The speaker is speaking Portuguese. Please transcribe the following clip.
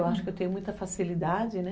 Eu acho que eu tenho muita facilidade, né?